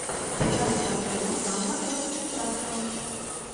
покажи картину жанра короткометражка